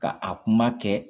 Ka a kuma kɛ